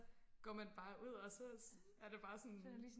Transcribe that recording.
går man bare ud og så er der bare sådan